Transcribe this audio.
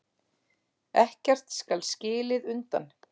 Ekkert skal skilið undan.